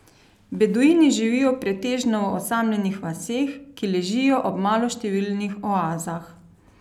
Beduini živijo pretežno v osamljenih vaseh, ki ležijo ob maloštevilnih oazah.